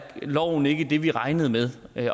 loven ikke det vi regnede med